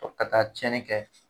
Ka taa tiɲɛni kɛ